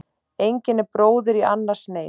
Engin er bróðir í annars neyð.